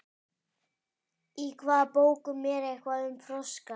í hvaða bókum er eitthvað um froska